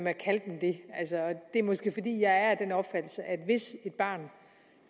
at kalde dem det det er måske fordi jeg er af den opfattelse at hvis et barn